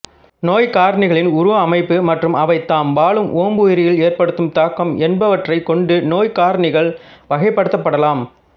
நோய்க்காரணிகளின் உருவ அமைப்பு மற்றும் அவை தாம் வாழும் ஓம்புயிரில் ஏற்படுத்தும் தாக்கம் என்பவற்றைக் கொண்டு நோய்க்காரணிகள் வகைப்படுத்தப்படலாம்